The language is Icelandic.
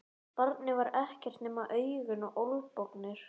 Barnið var ekkert nema augun og olnbogarnir.